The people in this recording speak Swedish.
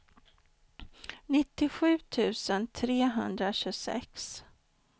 nittiosju tusen trehundratjugosex